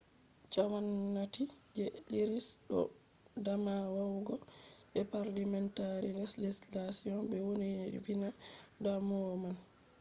gwamnati je irish do dama yawugo je parliamentary legislation be vointina damuwa man